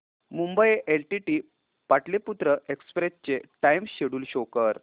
Mumbai LTT Pataliputra express चे time schedule show कर